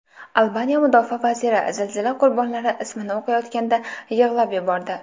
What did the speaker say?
Albaniya mudofaa vaziri zilzila qurbonlari ismini o‘qiyotganda yig‘lab yubordi .